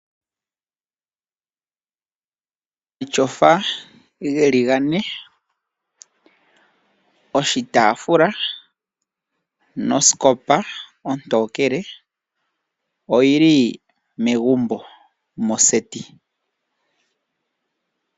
Omatyofa geli gane, oshitaafula, nosikopa ontokele, oyili megumbo ano moseti.